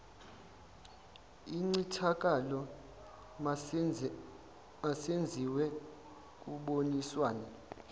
incithakalo masenziwe kuboniswana